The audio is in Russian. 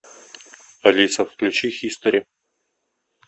алиса включи хистори